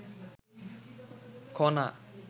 Khana